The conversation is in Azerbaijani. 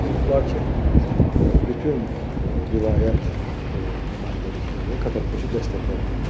Lakin bütün vilayət o nümayəndəlikləri katolikosu dəstəklədilər.